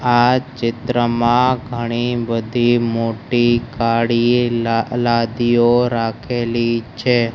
આ ચિત્રમાં ઘણી બધી મોટી કાળી લા લાદીઓ રાખેલી છે.